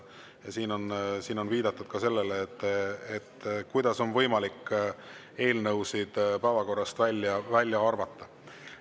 Siin on viidatud sellele, kuidas on võimalik eelnõusid päevakorrast välja arvata.